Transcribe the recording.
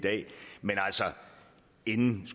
en